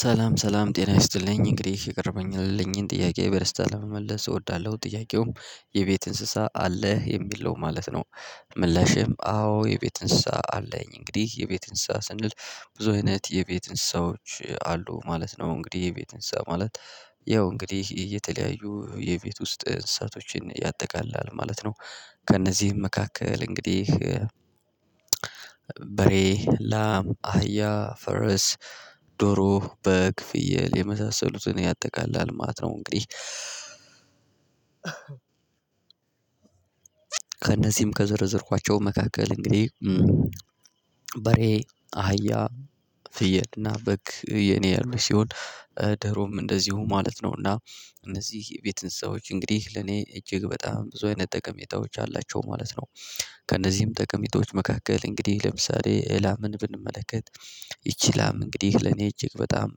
ሰላም ሰላም ጤና ይስጥልኝ እንግዲህ የቀረበልኝን ጥያቄ በደስታ ለመመለስ እወዳለሁ ጥያቄውም የቤት እንስሳ አለህ የሚለው ማለት ነው። ምላሽም አዎ የቤት እንስሳ አለኝ እንግዲህ የቤት እንስሳ ስንል ብዙ አይነት የቤት እንስሶች አሉ ማለት ነው። እንግዲህ የቤት እንስሳ ማለት ያው እንግዲህ እየተለያዩ የቤት ውስጥ እንስሳቶችን ያጠቃላል ማለት ነው። ከእነዚህም መካከል እንግዲህ በሬ ላም አህያ ፈረስ ዶሮ በግ ፍየል የመሳሰሉትን ያጠቃላል ማት ነው። እንግዲህ ከእነዚህም ከዘረዘርኳቸው መካከል እንግዲህ በሬ አህያ ፍየልና በግ የኔ ያሉኝ ሲሆን ደሮም እንደዚሁ ማለት ነው እና እነዚህ የቤት እንስሳዎች እንግዲህ ለኔ እጅግ በጣም ብዙ አይነት ጠቀሜታዎች አላቸው ማለት ነው። ከእነዚህም ጠቀሜታዎች መካከል እንግዲህ ለምሳሌ ላምን ብንመለከት ይቺ ላም እንግዲህ ለኔ እጅግ በጣም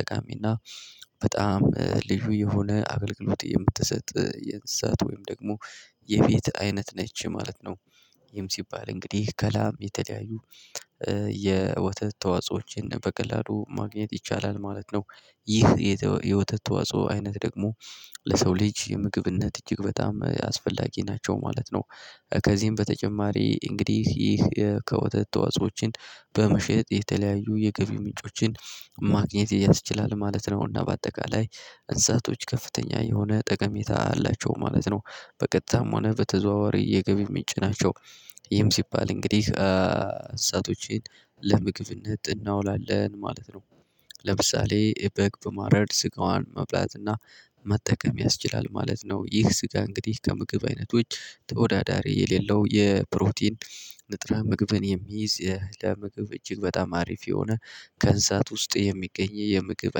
ጠቃሚና በጣም ልዩ የሆነ አገልግሎት የምትሰጥ የእንስሳት ወይም ደግሞ የቤት አይነት ነች ማለት ነው። ይህም ሲባል እንግዲህ ከላም የተለያዩ የወተት ተዋጾዎችን በቀላሉ ማግኘት ይቻላል ማለት ነው። ይህ የወተት ተዋጾ አይነት ደግሞ ለሰው ልጅ የምግብነት እጅግ በጣም አስፈላጊ ናቸው ማለት ነው። ከዚህም በተጨማሪ እንግዲህ ይህ ከወተት ተዋጾዎችን በመሸጥ የተለያዩ የገቢ ምንጮችን ማግኘት ያስችላል ማለት ነው። እና በአጠቃላይ እንስሳቶች ከፍተኛ የሆነ ጠቀሜታ አላቸው ማለት ነው። በቀጥታም ሆነ በተዘዋዋሪ የገቢ ምንጭ ናቸው ይህም ሲባል እንግዲህ እንስሳቶችን ለምግብነት እናውላለን ማለት ነው። ለምሳሌ በግ በማረድ ስጋዋን መብላትና መጠቀም ያስችላል ማለት ነው። ይህ ስጋ እንግዲህ ከምግብ አይነቶች ተወዳዳሪ የሌለው የፕሮቲን ንጥረ ምግብን የሚይዝ ለምግብ እጅግ በጣም አሪፍ የሆነ ከንሳት ውስጥ የሚገኝ የምግብ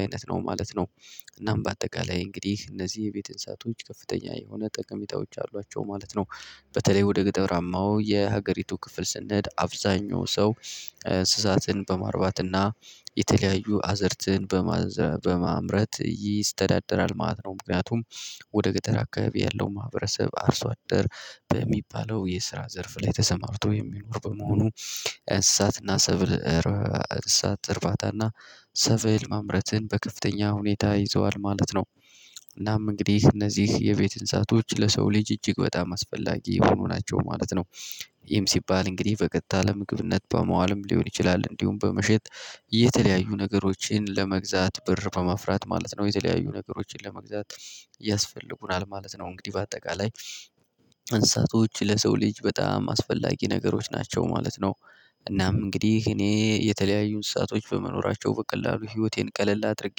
አይነት ነው ማለት ነው። እናም በአጠቃላይ እንግዲህ እነዚህ የቤት እንሳቶች ከፍተኛ የሆነ ጠቀሜታዎች አሏቸው ማለት ነው። በተለይ ወደ ግጠራማው የሀገሪቱ ክፍል ስንሄድ አብዛኛው ሰው በማርባትና የተለያዩ አዘርትን በመዝሪት በማምረት ይስተዳደራል ማለት ነው። ምክንያቱም ወደ ገጠር አካባቢ ያለው ማህበረሰብ አርሶ አደር በሚባለው የስራ ዘርፍ ላይ ተሰማርቶ የሚኖር በመሆኑ እንስሳትና ሰብል እንስሳት እርባታና ሰብል ማምረትን በከፍተኛ ሁኔታ ይዘዋል ማለት ነው። እናም እንግዲህ እነዚህ የቤት ህንፃዎች ለሰው ልጅ እጅግ በጣም አስፈላጊ የሆኑ ናቸው ማለት ነው። ይም ሲባል እንግዲህ በቀጥታ ለምግብነት በመዋልም ሊሆን ይችላል እንዲሁም በመሸጥ የተለያዩ ነገሮችን ለመግዛት ብር በማፍራት ማለት ነው የተለያዩ ነገሮችን ለመግዛት ያስፈልጉናል ማለት ነው። እንግዲህ በአጠቃላይ እንስሳቶች ለሰው ልጅ በጣም አስፈላጊ ነገሮች ናቸው ማለት ነው። እናም እንግዲህ እኔ የተለያዩ እንስሳቶች በመኖራቸው በቀላሉ ህይወቴን ቀለል አድርጌ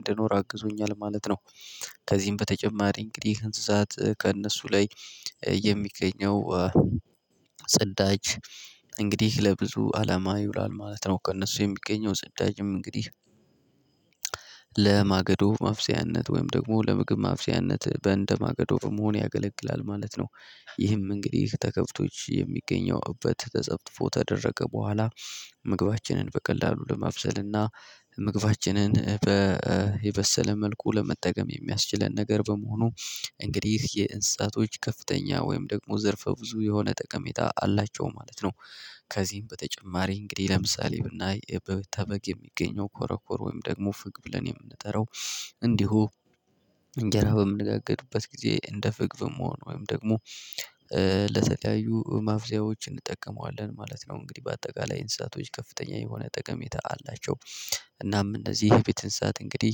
እንደኖር አግዞኛል ማለት ነው። ከዚህም በተጨማሪ እንግዲህ እንስሳት ከእነሱ ላይ የሚገኘው ጽዳጅ እንግዲህ ለብዙ አላማ ይውላል ማለት ነው ከእነሱ የሚገኘው ጽዳጅም እንግዲህ ለማገዶ ማብሰያነት ወይም ደግሞ ለምግብ ማብሰያነት በእንደማገዶ በመሆን ያገለግላል ማለት ነው። ይህም እንግዲህ ተከብቶች የሚገኘው እበት ተጠፍጥፎ ተደረቀ በኋላ ምግባችንን በቀላሉ ለማብሰልና ምግባችንን በየበሰለ መልኩ ለመጠቀም የሚያስችለን ነገር በመሆኑ እንግዲህ የእንስሳቶች ከፍተኛ ወይም ደግሞ ዘርፈ ብዙ የሆነ ጠቀሜታ አላቸው ማለት ነው። ከዚህም በተጨማሪ እንግዲህ ለምሳሌ ብናይ ከበግ የሚገኘው ኮረኮር ወይም ደግሞ ፍግ ብለን የምንጠራው እንዲሁ እንጀራ በምንጋግርበት ጊዜ እንደ ፍግ በመሆን ወይም ደግሞ ለተለያዩ ማብሰያዎች እንጠቀመዋለን ማለት ነው። እንግዲህ በአጠቃላይ እንስሳቶች ከፍተኛ የሆነ ጠቀሜታ አላቸው። እናም እነዚህ የቤት እንስሳት እንግዲህ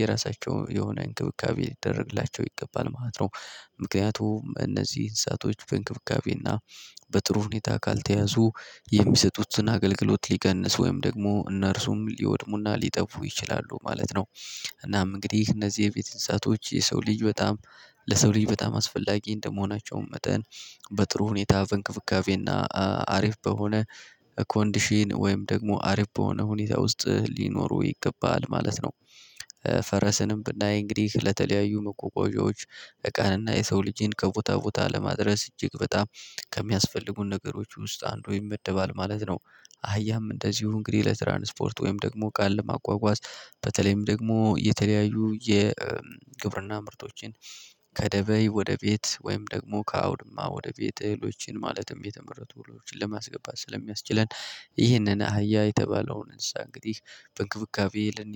የራሳቸው የሆነ እንክብካቤ ሊደረግላቸው ይገባል ማለት ነው። ምክንያቱም እነዚህ እንስሳቶች በእንክብካቤና በጥሩ ሁኔታ ካልተያዙ የሚሰጡትን አገልግሎት ሊቀንስ ወይም ደግሞ እነርሱም ሊወድሙና ሊጠፉ ይችላሉ ማለት ነው። እናም እንግዲህ እነዚህ የቤተነሳቶች የሰው ልጅ በጣም ለሰው ልጅ በጣም አስፈላጊ እንደመሆናቸውም መጠን በጥሩ ሁኔታ በንክብካቤና አሪፍ በሆነ ኮንዲሽን ወይም ደግሞ አሪፍ በሆነ ሁኔታ ውስጥ ሊኖሩ ይገባል ማለት ነው። ፈረስንም ብናይ እንግዲህ ለተለያዩ መጓጓዣዎች እቃንና የሰው ልጄን ከቦታ ቦታ ለማድረስ እጅግ በጣም ከሚያስፈልጉን ነገሮች ውስጥ አንዱ ይመደባል ማለት ነው። አህያም እንደዚሁ እንግዲህ ለትራንስፖርት ወይም ደግሞ ቃል ለማቋቋም በተለይም ደግሞ የተለያዩ የግብርና ምርቶችን ከደበይ ወደ ቤት ወይም ደግሞ ከአውድማ ወደ ቤት እህሎችን ማለትም የተመረጡ ህሎችን ለማስገባት ስለሚያስችለን ይህንን አህያ የተባለውን እንስሳ እንግዲህ በእንክብካቤ ልን